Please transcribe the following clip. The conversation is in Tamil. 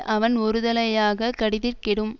அவன் ஒருதலையாகக் கடிதிற் கெடும்